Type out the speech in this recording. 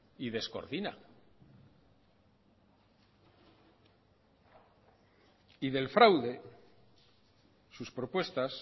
y descoordina sus propuestas